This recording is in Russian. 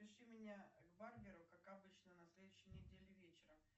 запиши меня к барберу как обычно на следующей неделе вечером